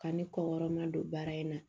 Ka ni kɔɔrɔma don baara in na